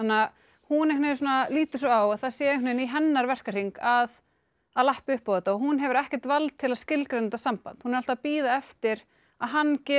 hún lítur svo á að það sé í hennar verkahring að að lappa upp á þetta hún hefur ekkert vald til að skilgreina þetta samband hún er að alltaf að bíða eftir að hann gefi